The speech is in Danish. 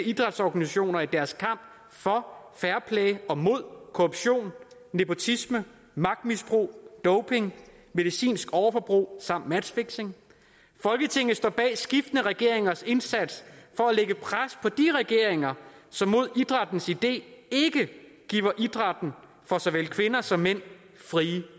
idrætsorganisationer i deres kamp for fairplay og mod korruption nepotisme magtmisbrug doping medicinsk overforbrug samt matchfixing folketinget står bag skiftende regeringers indsats for at lægge pres på de regeringer som mod idrættens idé ikke giver idrætten for såvel kvinder som mænd frie